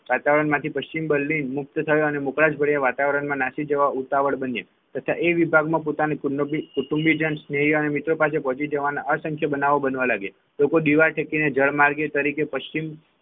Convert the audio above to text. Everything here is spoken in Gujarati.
વાતાવરણમાંથી પશ્ચિમ બર્લિન મુક્ત થયો અને મોકડાસ ભર્યા વાતાવરણમાં નાસી જવા ઉતાવળા બન્યાં તેથી એ વિભાગમાં પોતાના કુટુંબ અને કુટુંબીજન સ્નેહી મિત્ર પાસે પહોંચી જવા સંખ્યા બનાવો બનવા લાગ્યા લોકો દીવા ટેકીને જળમાર્ગે તરીકે પશ્ચિમ